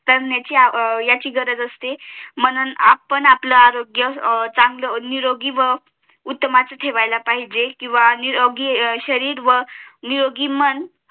तर याची गरज असते म्हणून आपण आपलं आरोग्य चांगला निरोगी हम्म व उत्तमच ठेवायला पाहिजे किंवा निरोगी शरीर निरोगी मन